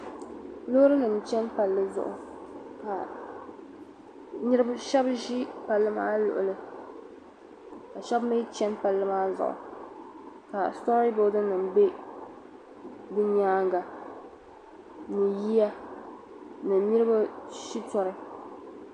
Loorinima n chani palli zuɣu ka shɛba ʒi palli maa lɔɣili ka shɛba mi chani palli maa zuɣu ka jiramiinsa bɛ di nyaaŋa ni yiya ni niriba shɛtɔri.